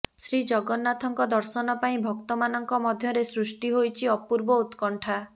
ଶ୍ରୀଜଗନ୍ନାଥଙ୍କ ଦର୍ଶନ ପାଇଁ ଭକ୍ତମାନଙ୍କ ମଧ୍ୟରେ ସୃଷ୍ଟି ହୋଇଛି ଅପୂର୍ବ ଉତ୍କଣ୍ଠା